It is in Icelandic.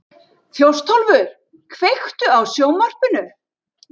Þjóstólfur, kveiktu á sjónvarpinu.